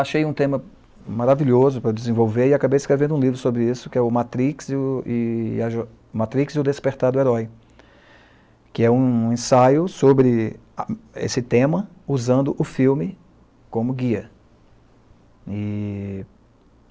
Achei um tema maravilhoso para desenvolver e acabei escrevendo um livro sobre isso, que é o Matrix e o e Matrix, e o Despertar do Herói, que é um ensaio sobre esse tema usando o filme como guia. E